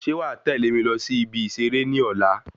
Ṣe wà tẹlẹ mí lọ sí ibi iṣere ní ọ̀la